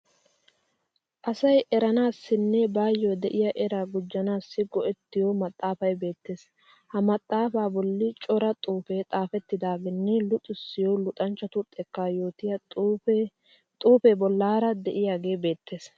Asay eranaassinne baayyo de'iya eraa gujjanaas go'ettiyo maxxaafay beettees. Ha maxxaafaa bolli cora xuufee xaafettidaageenne luxissiyo luxanchchatu xekkaa yootiya xuufee bollaara de'iyagee beettes.